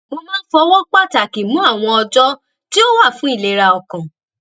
mo máa ń fọwó pàtàkì mú àwọn ọjó tí ó wà fún ìlera ọkàn